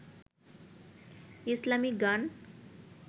ইসলামী গান